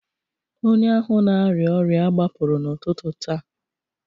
onye ahụ na-arịa ọrịa a gbapụrụ n'ụtụtụ taa